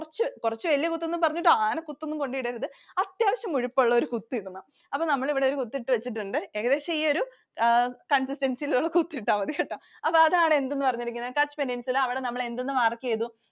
കുറച്ചു കുറച്ചു വലിയ കുത്തെന്നു പറഞ്ഞിട്ട് ആന കുത്തൊന്നും കൊണ്ടിടരുത്. അത്യാവശ്യം മുഴുപ്പ് ഉള്ള ഒരു കുത്തിടണം. അപ്പൊ നമ്മൾ ഇവിടെ ഒരു കുത്തിട്ടു വെച്ചിട്ടുണ്ട്. ഏകദേശം ഈ ഒരു consistency യിലുള്ള കുത്തു ഇട്ടാൽ മതികേട്ടോ. അപ്പൊ അതാണ് എന്തെന്ന് പറഞ്ഞത് Kutch Peninsula. അവിടെ നമ്മൾ എന്തെന്ന് mark ചെയ്തു?